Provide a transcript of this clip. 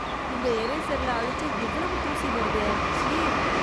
இந்த இரேசர்ல அழிச்சா இவ்வளவு தூசி வருதே. ச்சீ.